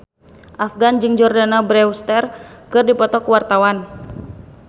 Afgan jeung Jordana Brewster keur dipoto ku wartawan